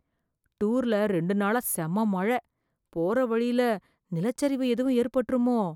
டூர்ல ரெண்டு நாளா செம்ம மழை, போறவழியில நிலச்சரிவு எதுவும் ஏற்பட்டுருமோ?